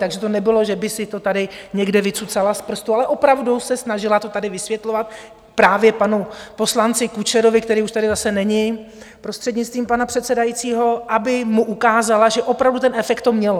Takže to nebylo, že by si to tady někde vycucala z prstu, ale opravdu se snažila to tady vysvětlovat právě panu poslanci Kučerovi, který už tady zase není, prostřednictvím pana předsedajícího, aby mu ukázala, že opravdu ten efekt to mělo.